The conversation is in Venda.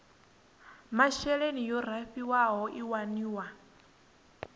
masheleni yo raliho i waniwa